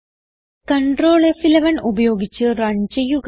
control ഫ്11 ഉപയോഗിച്ച് run ചെയ്യുക